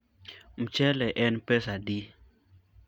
mchele en pesadi?